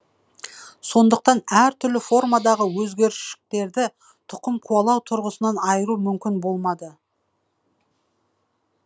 сондықтан әр түрлі формадағы өзгергіштіктерді тұқым қуалау тұрғысынан айыру мүмкін болмады